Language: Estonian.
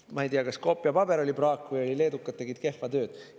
Ma ei tea, kas koopiapaber oli praak või leedukad tegid kehva tööd.